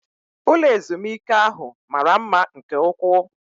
Ụlọ ezumike ahụ mara mma nke ụkwụ